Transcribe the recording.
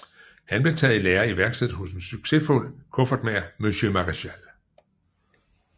Han blev taget i lære i værkstedet hos en succesfuld kuffertmager monsieur Marechal